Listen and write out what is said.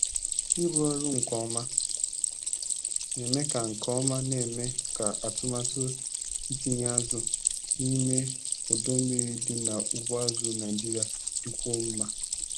ịrụ ọrụ nke ọma na-eme nke ọma na-eme ka atụmatụ itinye azụ n'ime odo mmiri dị na ugbo azụ Naijiria dịkwuo mma.